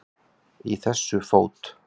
Í þessu fót